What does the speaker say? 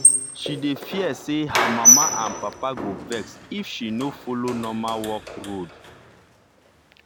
she dey fear say her mama and papa go vex if she no follow normal work road.